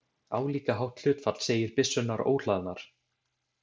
Álíka hátt hlutfall segir byssurnar óhlaðnar.